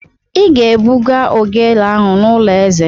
Ị ga-ebuga ogele ahụ n'ụlọ eze!